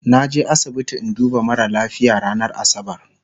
naje asibiti in duba mara lafia ranar asabar